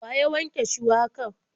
Wa ya wanke shuwakar?